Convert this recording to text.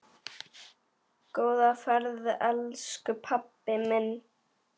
Góða ferð elsku pabbi minn.